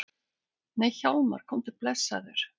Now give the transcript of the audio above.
Nei Hjálmar, komdu blessaður!